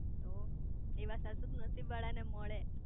તો એવા સાસુ તો નસીબ વાળા ને મળે